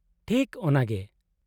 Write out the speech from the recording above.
-ᱴᱷᱤᱠ ᱚᱱᱟᱜᱮ !